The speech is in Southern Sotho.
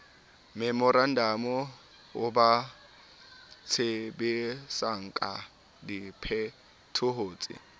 memorantamo o ba tsebisangka diphetohotse